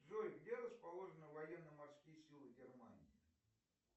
джой где расположены военно морские силы германии